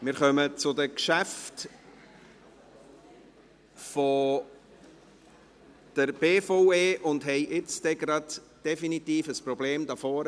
Wir kommen zu den Geschäften der BVE und haben nun definitiv ein Problem hier vorne.